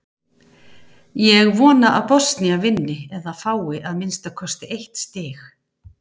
Ég vona að Bosnía vinni eða fái að minnsta kosti eitt stig.